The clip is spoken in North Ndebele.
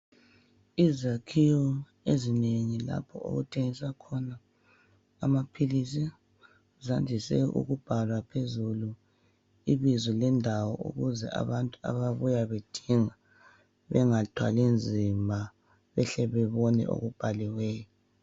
Izakhiwo ezinengi lapho okuthengiswa khona amaphilisi. Zandise ukubhala phezulu ibizo lendawo ukuze abantu ababuya bethenga bengathwali nzima, behle bebone okubhaliweyo.